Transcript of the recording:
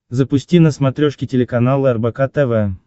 запусти на смотрешке телеканал рбк тв